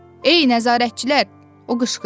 Ey, nəzarətçilər, o qışqırdı.